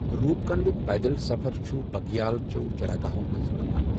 روُپ کنڈُک پیدل سفر چھُ بگیال چٮ۪و چراگاہو٘ منٛزٕ پكان ۔